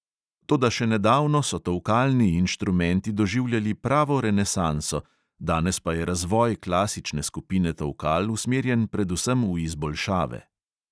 Toda še nedavno so tolkalni inštrumenti doživljali pravo renesanso, danes pa je razvoj klasične skupine tolkal usmerjen predvsem v izboljšave.